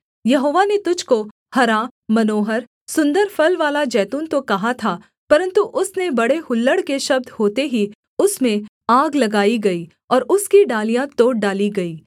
यहोवा ने तुझको हरा मनोहर सुन्दर फलवाला जैतून तो कहा था परन्तु उसने बड़े हुल्लड़ के शब्द होते ही उसमें आग लगाई गई और उसकी डालियाँ तोड़ डाली गई